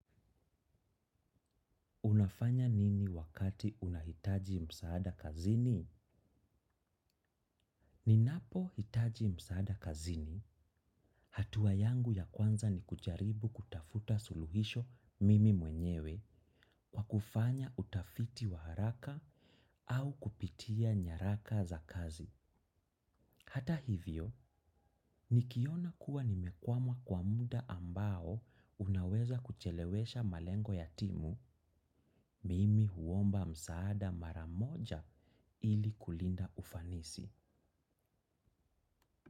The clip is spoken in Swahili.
Unafanya nini wakati unahitaji msaada kazini? Ninapo hitaji msaada kazini, hatua yangu ya kwanza ni kujaribu kutafuta suluhisho mimi mwenyewe kwa kufanya utafiti wa haraka au kupitia nyaraka za kazi. Hata hivyo, nikiona kuwa nimekwama kwa muda ambao unaweza kuchelewesha malengo ya timu, mimi huomba msaada maramoja ili kulinda ufanisi.